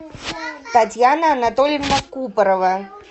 татьяна анатольевна купорова